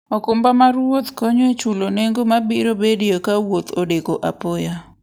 okumba mar wuoth konyo e chulo nengo ma biro bedoe ka wuoth odeko apoya.